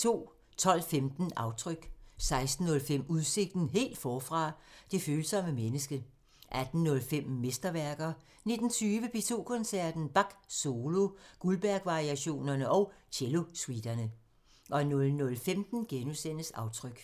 12:15: Aftryk 16:05: Udsigten – Helt forfra: Det følsomme menneske 18:05: Mesterværker 19:20: P2 Koncerten – Bach solo – Goldbergvariationerne og cellosuiterne 00:15: Aftryk *